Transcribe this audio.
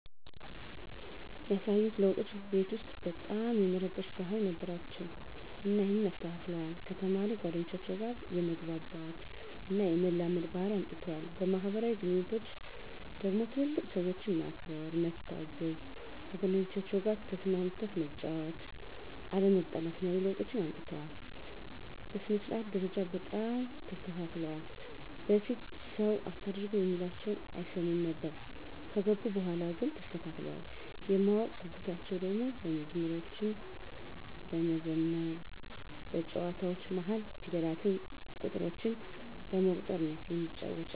ያሳዩት ለዉጦች ቤት ዉስጥ በጣም የመረበሽ ባህሪ ነበራቸዉ እና ይሀንን አስተካክለዋል፣ ከተማሪ ጓደኞቻቸዉ ጋ የመግባባት እና የመላመድ ባህሪ አምጠዋል። በማህበራዊ ግንኙነቶች ደግሞ ትልልቅ ሰዎችን ማክበር፣ መታዘዝ፣ ከጓደኞቻቸዉ ጋ ተስማምተህ መጫወት፣ አለመጣላትን ያሉ ለዉጦችን አምጥተዋል። በሥነ-ስርዓት ደረጃ በጣም ተስተካክለዋል በፊት ሰዉ አታርጉ እሚላቸዉን አይሰሙም ነበር ከገቡ በኋላ ግን ተስተካክለዋል። የማወቅ ጉጉታቸዉ ደሞ መዝሙሮችን በመዘመር በጨዋታዎች መሀል ፊደላትን፣ ቁጥሮችን በመቁጠር ነዉ እሚጫወቱት።